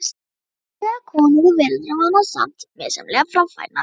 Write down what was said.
Reffilegar konur og veraldarvanar, samt misjafnlega framfærnar.